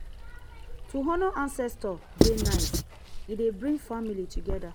to honour ancestor dey nice e dey bring family together